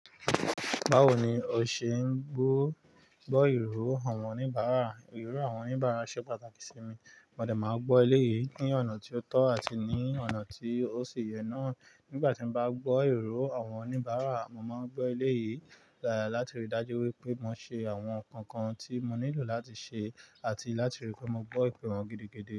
Báwo ni o ṣe ń gbọ́ ìró àwọn oníbàárà? Ìró àwọn oníbàárà ṣe pàtàkì sí mi. Mo dẹ̀ máa gbọ́ eléyìí ní ọ̀nà tí ó tọ́ àti ní ọ̀nà tí ó ṣì yẹ náà. Nígbà tí mo bá gbọ́ ìró àwọn oníbàárà, mo máa ń gbọ́ eléyìí láti rí i dájú wípé mo ṣe àwọn nǹkan kan tí mo nílò láti ṣe àti láti rí pé mo gbọ́ ìpè wọ́n gidi gidí.